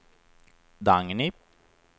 Dagny